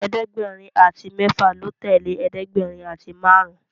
ẹ̀ẹ́dẹ̀gbẹ̀rin àti méfà ló tẹlẹ ẹ̀ẹ́dẹ̀gbẹ̀rin àti márùn